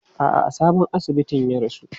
A'a, a sabon asibitin ya rasu.